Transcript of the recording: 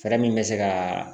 Fɛɛrɛ min bɛ se ka